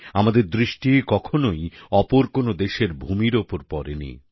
আমাদের দৃষ্টি কখনই অপর কোনও দেশের ভূমির ওপর পরেনি